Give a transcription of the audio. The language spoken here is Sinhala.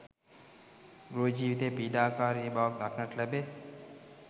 ගෘහ ජීවිතයේ පීඩාකාරී බවක් දක්නට ලැබේ.